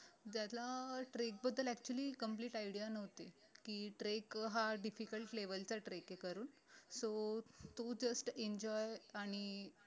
ज्याला trek बदल actually complete idea नव्हती की trek हा difficult level चा trek ए करून so तो just enjoy आणि